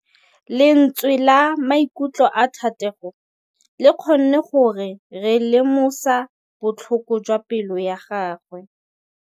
Lentswe la maikutlo a Thategô le kgonne gore re lemosa botlhoko jwa pelô ya gagwe.